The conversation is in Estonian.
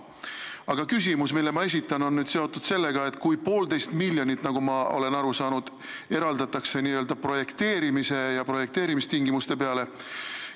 Aga küsimus, mille ma esitan, on seotud sellega, et poolteist miljonit, nagu ma olen aru saanud, eraldatakse projekteerimiseks, projekteerimistingimuste määramiseks.